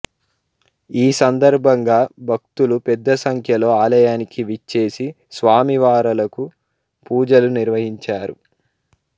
ఈ సందర్భంగా భక్తులు పెద్దసంఖ్యలో ఆలయానికి విచ్చేసి స్వామివారలకు పూజలు నిర్వహించారు